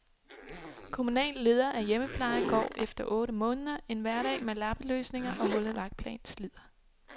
Kommunal leder af hjemmepleje går efter otte måneder, en hverdag med lappeløsninger og hullet vagtplan slider.